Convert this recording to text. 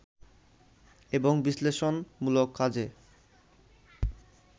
এবং বিশ্লেষণমূলক কাজে